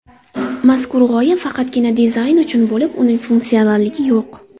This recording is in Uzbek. Mazkur g‘oya faqatgina dizayn uchun bo‘lib, uning funksionalligi yo‘q.